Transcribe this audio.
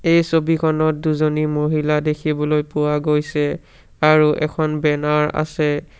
এই ছবিখনত দুজনী মহিলা দেখিবলৈ পোৱা গৈছে আৰু এখন বেনাৰ আছে।